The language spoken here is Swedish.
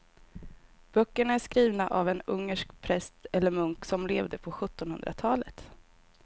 Böckerna är skrivna av en ungersk präst eller munk som levde på sjuttonhundratalet.